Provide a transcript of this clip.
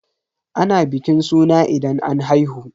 Ana bikin suna idan an haihu.